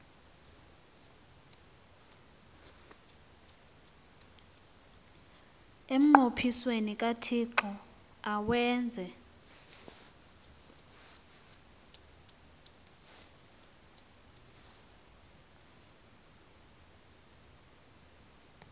emnqophisweni kathixo awenze